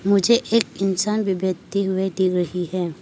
मुझे एक इंसान भी बैठे हुए दिग रही है।